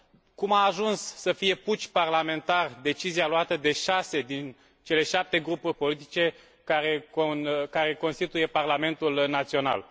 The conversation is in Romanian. cum a ajuns să fie puci parlamentar decizia luată de șase, din cele șapte grupuri politice, care constituie parlamentul național.